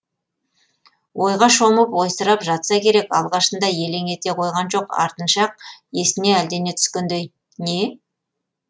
ойға шомып ойсырап жатса керек алғашында елең ете қойған жоқ артынша ақ есіне әлдене түскендей не